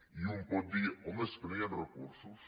i un pot dir home és que no hi han recursos